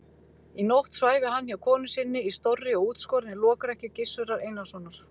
Í nótt svæfi hann hjá konu sinni í stórri og útskorinni lokrekkju Gizurar Einarssonar.